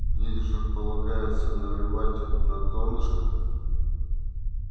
в них же полагается наливать на донышко